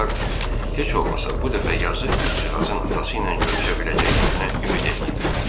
Onlar heç olmasa bu dəfə yazıq qızcığazın atası ilə görüşə biləcəklərinə ümid eləyirdilər.